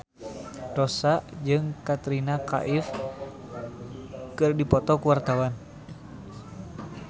Rossa jeung Katrina Kaif keur dipoto ku wartawan